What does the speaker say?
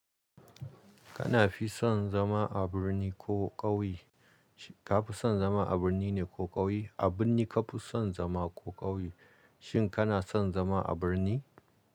Kana fi son zama a birni ko ƙauye? Ka fi son zama a birni ne ko ƙauye? A birni ka fi son zama ko ƙauye? Shin kana son zama a birni?